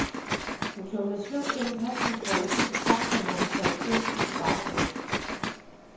Hun tumlede sløvt gennem paskontrollen ud til taxaen, hvor hun faldt ind på bagsædet.